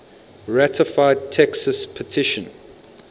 ratified texas petition